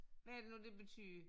Hvad er det nu det betyder